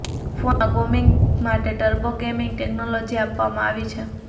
ફોનમાં ગેમિંગ માટે turbo gaming technology આપવામાં આવી છે